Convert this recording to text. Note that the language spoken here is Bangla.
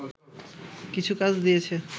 কিছু কাজ দিয়েছে